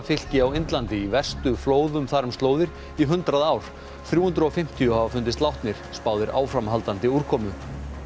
fylki á Indlandi í verstu flóðum þar um slóðir í hundrað ár þrjú hundruð og fimmtíu hafa fundist látnir spáð er áframhaldandi úrkomu